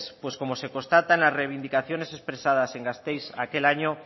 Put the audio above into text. pues como se constata en las reivindicaciones expresadas en gasteiz aquel año